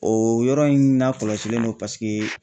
O yɔrɔ in na kɔlɔsilen don paseke